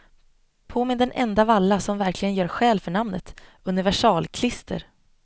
På med den enda valla som verkligen gör skäl för namnet, universalklister.